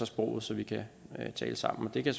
sproget så vi kan tale sammen det kan